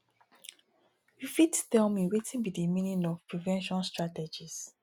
you fit tell me wetin be di meaning of prevention strategies